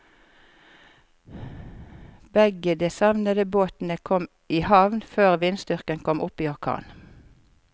Begge de savnede båtene kom i havn før vindstyrken kom opp i orkan.